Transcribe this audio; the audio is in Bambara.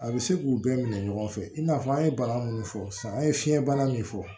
A bɛ se k'u bɛɛ minɛ ɲɔgɔn fɛ i n'a fɔ an ye bana minnu fɔ sisan an ye fiɲɛbana min fɔ